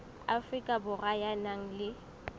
afrika borwa ya nang le